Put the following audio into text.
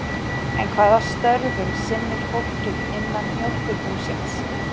En hvaða störfum sinnir fólkið innan Mjólkurbúsins?